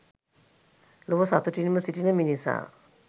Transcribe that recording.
ලොව සතුටින්ම සිටින මිනිසා